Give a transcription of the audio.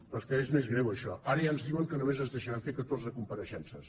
però és que és més greu això ara ja ens diuen que només ens deixaran fer catorze compareixences